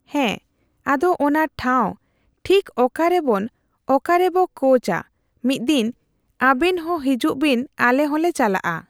ᱦᱮᱸ ᱟᱫᱚ ᱚᱱᱟ ᱴᱷᱟᱣ ᱴᱷᱤᱠ ᱚᱠᱟᱨᱮᱵᱮᱱ ᱚᱠᱟᱨᱮᱵᱳ ᱠᱳᱪᱼᱟ ᱢᱤᱫᱫᱤᱱ ᱟᱵᱮᱱ ᱦᱚᱸ ᱦᱤᱡᱩᱜ ᱵᱮᱱ ᱟᱞᱮ ᱦᱚᱞᱮ ᱪᱟᱞᱟᱜᱼᱟ ᱾